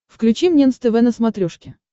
включи мне нств на смотрешке